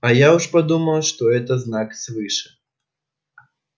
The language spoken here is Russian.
а я уж подумал что это знак свыше